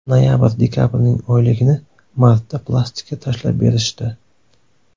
Noyabr-dekabrning oyligini martda plastikka tashlab berishdi.